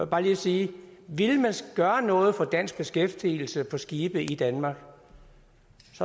bare lige sige at ville man gøre noget for dansk beskæftigelse på skibe i danmark